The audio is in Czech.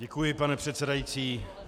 Děkuji, pane předsedající.